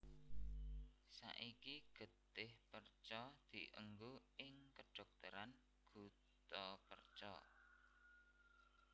Saiki getih perca dienggo ing kedhokteran guttapercha